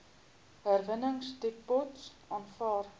herwinningsdepots aanvaar